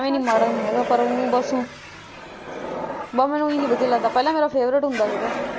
ਐਵੇਂ ਤੇ ਮਾੜਾ ਨਹੀਂ ਹੈਗਾ ਉਹੀ ਬਸ ਉਹੀ ਬਸ ਮੈਨੂੰ ਉਹ ਹੀ ਨਹੀਂ ਚੰਗਾ ਲੱਗਦਾ ਪਹਿਲੀ ਉਹ ਮੇਰਾ favorite ਹੁੰਦਾ ਸੀਗਾ।